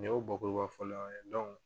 Nin y'o bakuruba fɔlen ye